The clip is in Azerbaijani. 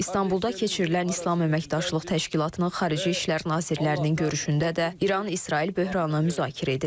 İstanbulda keçirilən İslam Əməkdaşlıq Təşkilatının Xarici İşlər nazirlərinin görüşündə də İran-İsrail böhranı müzakirə edilib.